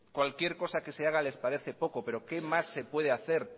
cualquier cosa que se haga les parece poco pero qué más se puede hacer